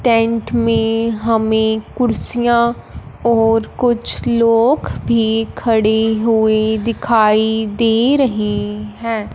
Tent में हमे कुर्सियां और कुछ लोग भी खड़े हुई दिखाई दे रहे हैं।